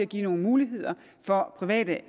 give nogle muligheder for private